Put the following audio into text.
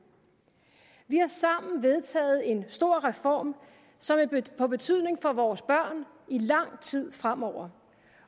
vi har sammen vedtaget en stor reform som får betydning for vores børn i lang tid fremover